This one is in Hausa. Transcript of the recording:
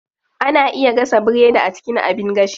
Ana iya gasa biredi a cikin abin gashi.